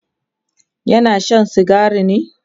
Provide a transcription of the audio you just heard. yana Shan sigari ne?